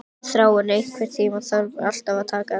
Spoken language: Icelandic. Þráinn, einhvern tímann þarf allt að taka enda.